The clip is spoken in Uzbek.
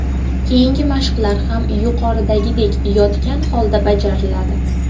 Keyingi mashqlar ham yuqoridagidek yotgan holda bajariladi.